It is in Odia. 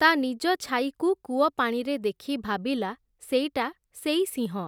ତା’ ନିଜ ଛାଇକୁ କୂଅପାଣିରେ ଦେଖି ଭାବିଲା, ସେଇଟା ସେଇ ସିଂହ ।